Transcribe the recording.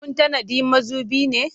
Kun tanadi mazubi ne?